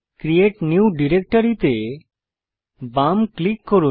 create new directory তে বাম click করুন